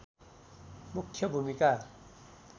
मुख्य भूमिका